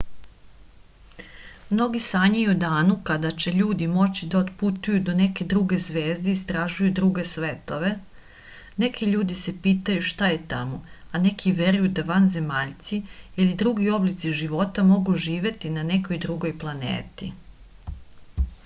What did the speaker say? mnogi sanjaju o danu kada će ljudi moći da otputuju do neke druge zvezde i istražuju druge svetove neki ljudi se pitaju šta je tamo a neki veruju da vanzemaljci ili drugi oblici života mogu živeti na nekoj drugoj planeti